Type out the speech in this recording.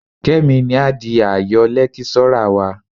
Kẹ́mi ni á di ààyọ̀ lẹ́kíṣọ́rà wa